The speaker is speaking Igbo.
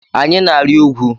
Anyị na-arị ugwu.